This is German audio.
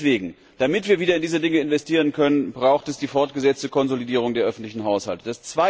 Deswegen, damit wir wieder in diese Dinge investieren können, braucht es die fortgesetzte Konsolidierung der öffentlichen Haushalte.